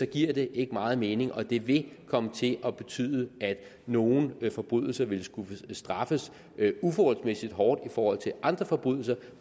giver det ikke meget mening og det vil komme til at betyde at nogle forbrydelser ville skulle straffes uforholdsmæssig hårdt i forhold til andre forbrydelser